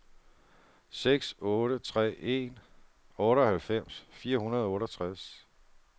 seks otte tre en otteoghalvfems fire hundrede og otteogtres